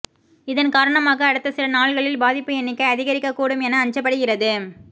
இதன் காரணமாக அடுத்த சில நாள்களில் பாதிப்பு எண்ணிக்கை அதிகரிக்கக் கூடும் என அஞ்சப்படுகிறது